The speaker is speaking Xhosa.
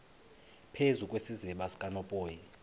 phezu kwesiziba sikanophoyi